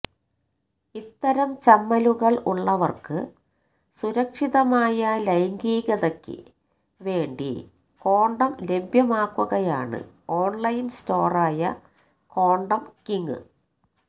ഇത്തരം ചമ്മലുകള് ഉള്ളവര്ക്ക് സുരക്ഷിതമായ ലൈംഗീകതയ്ക്ക് വേണ്ടി കോണ്ടം ലഭ്യമാക്കുകയാണ് ഓണ്ലൈന് സ്റ്റോറായ കോണ്ടംകിംഗ്